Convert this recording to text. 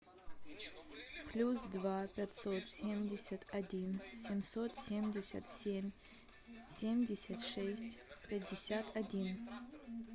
плюс два пятьсот семьдесят один семьсот семьдесят семь семьдесят шесть пятьдесят один